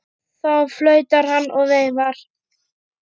Þá flautar hann og veifar.